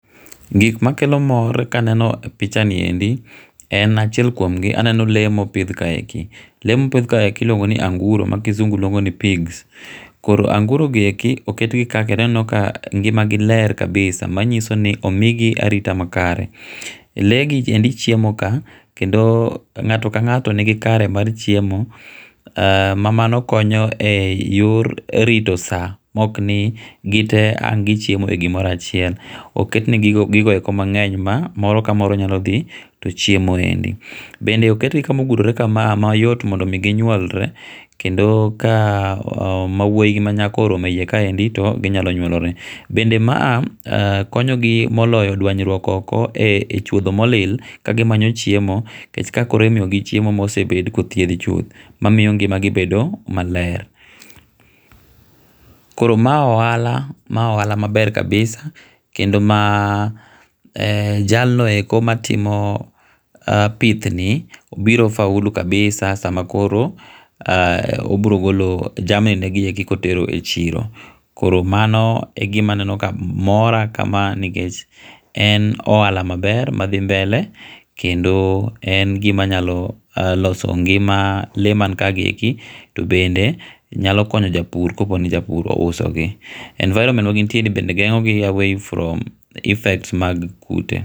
Gik ma kelo mor ka neno pich ni e ndi en achiel kuom gi a neno lee ma o pidhi ka e ki lee ma opidh ka e ki iluongo ni anguro ma kisungu luongo ni pigs koro anguro gi e ki oketi gi ka kendo a neno ka ngima gi ler kabisa ma ngiso ni o migi arita ma kare lee gi e ndi chiemo ka kendo ngato ka ngato ni gi kare mar chiemo ma mano konyo e yor rito saa ma ok ni gi tee ang ni gi chiemo e gi moro achiel o ket ne gi gigo e ko mangeny ma moro ka moro nyalo dhi to chiemo e ndi bende oket gi kama o guro re kama ma yot mondo gi nyuolre kendo ka ma wuoyi gi ma nyako ka oromo e iye ka e ndi to gi nyalo nyuolore bende ma konyo gi moyo dwanyruok oko e chuodho mo lil ka gi manyo chiemo ni kech ka imiyo gi chiemo ma osebed ka ithiedho chuth ma miyo ngima gi bedo ma ler koro ma [r]ohala[r] ohala maber kabisa kendo jal no e ko ma timo pith ni biro faulu [cskabisa sama koro obiro golo jamni e ki ka otero gi e chiro koro mano e gima aneno ka mora kama ni kech en ohala ma ber madhi mbele kendo en gima nyalo loso gima lee ma ka gi ki kendo nyalo konyo ngima ja pur ka po ni ja pur ouso gi environment ma gin tiere ni be gengo gi away from effects mag kute.